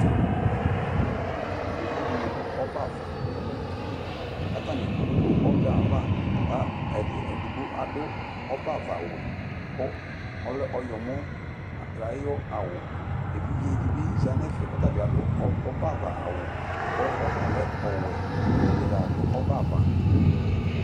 yovo dini dũ ɔbava owu li katani du ɔbaava ka edi ɛdibo adu ɔbava wʊ kʊ ɔlɛ ɔyɔmɔ ayu awu evidze dibi za nɛfɛ kɔtabi adũ ɔbava awʊ ku ɔtalɛ ɔwɛ katadza du ɔbava